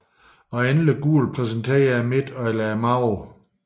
Og endelig gul repræsenterer midten eller maven